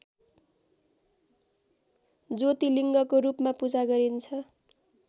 ज्योतिलिङ्गको रूपमा पूजा गरिन्छ